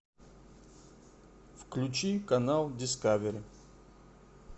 включи канал дискавери